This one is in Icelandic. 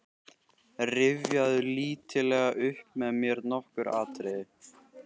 Rifjaðu lítillega upp með mér nokkur atriði.